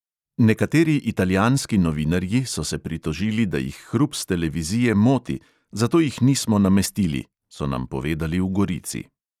Nekateri italijanski novinarji so se pritožili, da jih hrup s televizije moti, zato jih nismo namestili," so nam povedali v gorici.